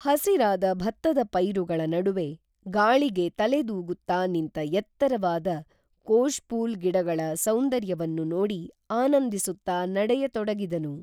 ಹಸಿರಾದ ಭತ್ತದ ಪೈರುಗಳ ನಡುವೆ ಗಾಳಿಗೆ ತಲೆ ದೂಗುತ್ತಾ ನಿಂತ ಎತ್ತರವಾದ ಕೋಷ್ಪೂಲ್ ಗಿಡಗಳ ಸೌಂದರ್ಯವನ್ನು ನೋಡಿ ಆನಂದಿಸುತ್ತಾ ನಡೆಯತೊಡಗಿದನು